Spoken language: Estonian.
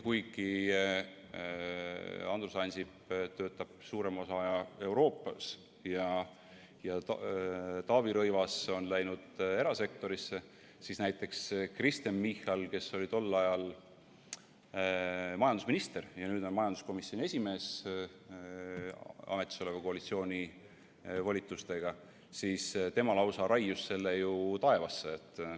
Andrus Ansip töötab nüüd suurema osa aja Euroopas ja Taavi Rõivas on läinud erasektorisse, aga näiteks Kristen Michal, kes oli tol ajal majandusminister ja nüüd on majanduskomisjoni esimees ametis oleva koalitsiooni volitustega, lausa raius selle ju taevasse.